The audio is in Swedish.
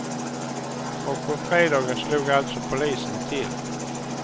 Och på fredagen slog alltså polisen till.